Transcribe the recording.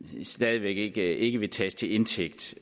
stadig væk ikke ikke vil tages til indtægt